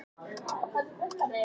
Ég kaupi þá bara minna.